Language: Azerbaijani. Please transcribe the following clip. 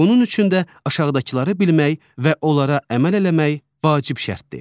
Bunun üçün də aşağıdakıları bilmək və onlara əməl eləmək vacib şərtdir.